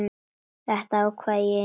Þetta ákvað ég í nótt.